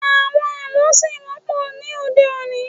Àwọn àlọ́ ṣì wọ́pọ̀ ní òde-òní.